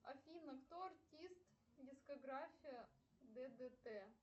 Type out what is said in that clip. афина кто артист дискография ддт